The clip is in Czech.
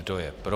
Kdo je pro?